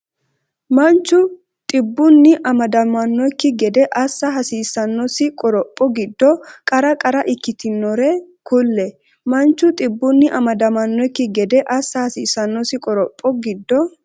Manchu dhibbunni amadamannokki gede assa hasiissannosi qoropho giddo qara qara ikkitinore kulle Manchu dhibbunni amadamannokki gede assa hasiissannosi qoropho giddo.